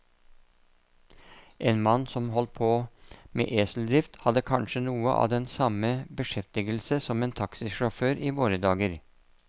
En mann som holdt på med eseldrift, hadde kanskje noe av den samme beskjeftigelse som en taxisjåfør i våre dager.